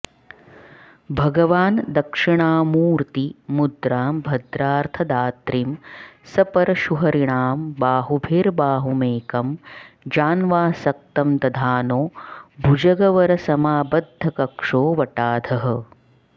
भगवान दक्षिणामूर्ति मुद्रां भद्रार्थदात्रीं सपरशुहरिणां बाहुभिर्बाहुमेकं जान्वासक्तं दधानो भुजगवरसमाबद्धकक्षो वटाधः